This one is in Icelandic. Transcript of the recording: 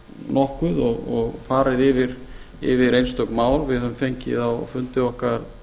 nokkuð og farið yfir einstök mál við höfum fengið á fundi okkar